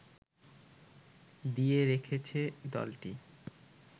দিয়ে রেখেছে দলটি